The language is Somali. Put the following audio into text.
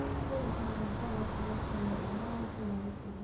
Hubi in maacuunta wax lagu kariyo ay mar walba nadiif yihiin.